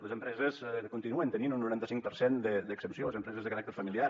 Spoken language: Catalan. les empreses continuen tenint un noranta cinc per cent d’exempció les empreses de caràcter familiar